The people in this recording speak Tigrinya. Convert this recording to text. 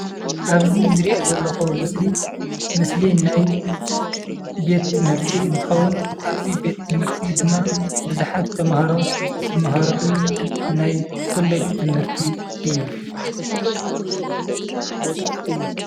ኣብዚ ዝሪኦ ዘለኹ ምስሊ ምስሊ ናይ ቤት ትምህርቲ እንትኸውን ኣብዚ ቤት ትምህርቲ ድማ ቡዝሓት ተምሃሮ ዝመሃርሉ ናይ ኮሌጅ ትምህርቲ እዩ።